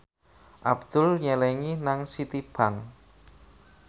Abdul nyelengi nang Citibank